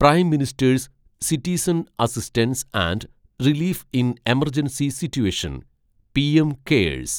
prime ministers citizen assistance and relief in emergency situation (PM curse)